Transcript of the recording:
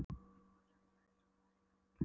Hún hrópaði sömuleiðis, af hræðslu en líka reiði.